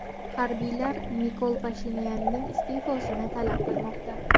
Harbiylar Nikol Pashinyanning iste’fosini talab qilmoqda.